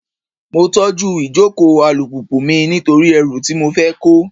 Mo tọ́jú ìjókòó alùpùpù mi nítorí ẹrù tí mo fẹ́ kó.